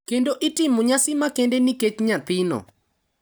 kendo itimo nyasi makende nikech nyathino.